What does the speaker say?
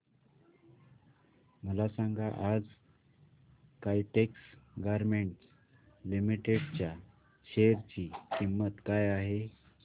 मला सांगा आज काइटेक्स गारमेंट्स लिमिटेड च्या शेअर ची किंमत काय आहे